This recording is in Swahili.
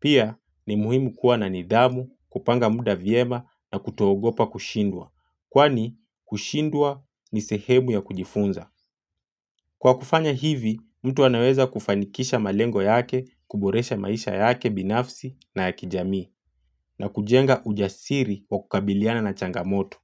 Pia ni muhimu kuwa na nidhamu, kupanga muda vyema na kutoogopa kushindwa. Kwani kushindwa ni sehemu ya kujifunza. Kwa kufanya hivi, mtu anaweza kufanikisha malengo yake, kuboresha maisha yake binafsi na ya kijamii. Na kujenga ujasiri wa kukabiliana na changamoto.